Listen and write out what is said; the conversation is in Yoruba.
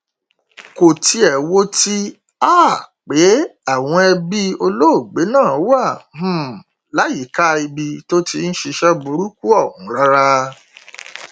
kò tiẹ wo ti um pé àwọn ẹbí olóògbé náà wà um láyìíká ibi tó ti ń ṣiṣẹ burúkú ọhún rárá